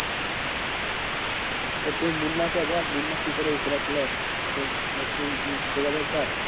তো তুই মুন্নাকে বল মুন্না কী করে ই করে আসলো? ওকে যোগাযোগ কর।